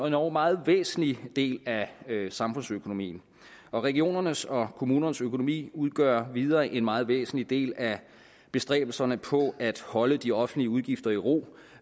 endog meget væsentlig del af samfundsøkonomien og regionernes og kommunernes økonomi udgør videre en meget væsentlig del af bestræbelserne på at holde de offentlige udgifter i ro